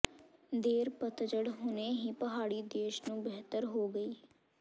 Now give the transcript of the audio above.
ਦੇਰ ਪਤਝੜ ਹੁਣੇ ਹੀ ਪਹਾੜੀ ਦੇਸ਼ ਨੂੰ ਬਿਹਤਰ ਹੋ ਗਈ